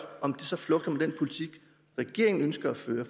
om det så flugter med den politik regeringen ønsker at føre